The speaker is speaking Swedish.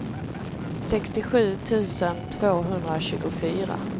sextiosju tusen tvåhundratjugofyra